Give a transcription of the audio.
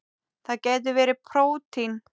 Það gætu verið prótín.